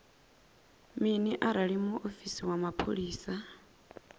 mini arali muofisi wa mapholisa